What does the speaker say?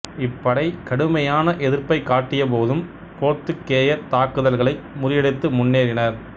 இப்படை கடுமையான எதிர்ப்பைக் காட்டியபோதும் போர்த்துக்கேயர் தாக்குதல்களை முறியடித்து முன்னேறினர்